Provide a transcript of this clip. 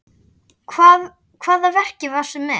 Hvaða verki varstu með?